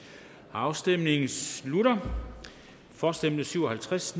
afstemningen slutter for stemte syv og halvtreds